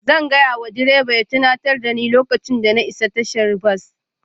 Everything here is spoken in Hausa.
Zan gaya wa direba ya tunatar da ni lokacin da muka isa tashar bas